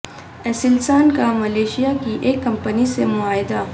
Aselsan کا Malaysia کی ایک کمپنی سے معاہدہ